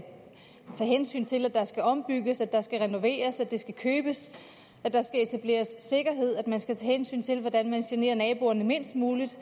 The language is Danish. tage hensyn til at der både skal ombygges at der skal renoveres at det skal købes at der skal etableres sikkerhed og at man skal tage hensyn til hvordan man generer naboerne mindst muligt